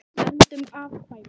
Verndun afkvæma